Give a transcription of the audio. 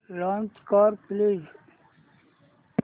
launch कर please